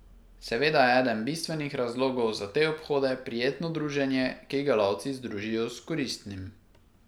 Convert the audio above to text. Seveda je eden bistvenih razlogov za te obhode prijetno druženje, ki ga lovci združijo s koristnim.